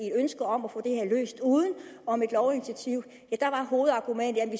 et ønske om at få det her løst uden om et lovinitiativ ja der var hovedargumentet at vi